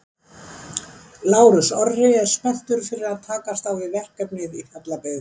Lárus Orri er spenntur fyrir að takast á við verkefnið í Fjallabyggð.